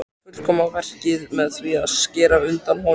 Og fullkomna verkið með því að skera undan honum.